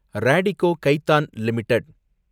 Radico Khaitan limited